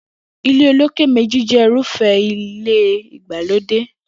Ilé olókè méjì jé̩ irúfé̩ ilé ìgbàlódè